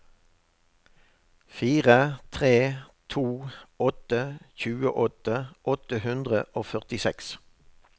fire tre to åtte tjueåtte åtte hundre og førtiseks